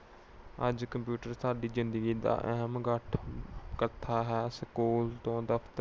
ਅੱਜ computer ਸਾਡੀ ਜਿੰਦਗੀ ਦਾ ਅਹਿਮ ਹੈ। ਸਕੂਲ ਤੋਂ ਦਫ਼ਤਰ